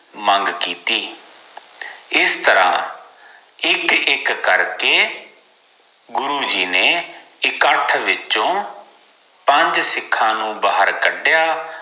ਮੰਗ ਕੀਤੀ ਇਸ ਤ੍ਰਾਹ ਇਕ ਇਕ ਕਰਕੇ ਗੁਰੂਜੀ ਨੇ ਇਕੱਠ ਵਿੱਚੋ ਪੰਜ ਸਿੱਖਾਂ ਨੂੰ ਬਹਾਰ ਕੱਡਯਾ